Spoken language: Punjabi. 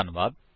ਧੰਨਵਾਦ